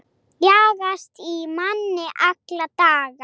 Jagast í manni alla daga.